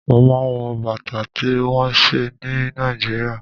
Mo máa ń wọ̀ Bàtà tí wón ṣe ní Nàìjíríà.